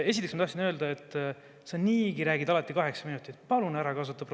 Esiteks, ma tahtsin öelda, et sa niigi räägid alati kaheksa minutit.